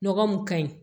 Nɔgɔ mun ka ɲi